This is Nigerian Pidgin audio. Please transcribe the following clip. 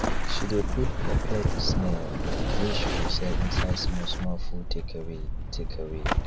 she de put peppered snail wey she go sell inside small small food takeaway takeaway